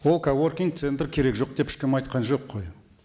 ол коворкинг центр керек жоқ деп ешкім айтқан жоқ қой